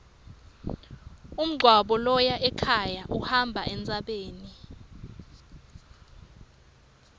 umgwaco loya ekhaya uhamba entsabeni